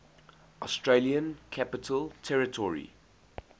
australian capital territory